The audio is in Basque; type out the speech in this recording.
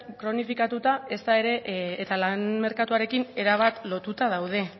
kronifikatuta eta lan merkatuarekin erabat lotuta daude